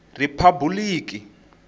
riphabuliki